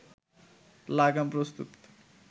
লাগাম প্রস্তুত